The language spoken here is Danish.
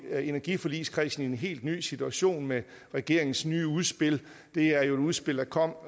energiforligskredsen kommet i en helt ny situation med regeringens nye udspil det er jo et udspil der kom